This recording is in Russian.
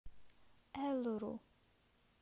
элуру